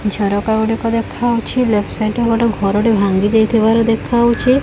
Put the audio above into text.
ଝରକା ଗୁଡ଼ିକ ଦେଖାହଉଛି ଲେପଟ୍ ସାଇଟ୍ ରେ ଗୋଟେ ଘର ଟେ ଭାଙ୍ଗି ଯାଇଥିବାର ଦେଖାହଉଛି।